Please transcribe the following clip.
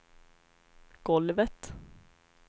golvet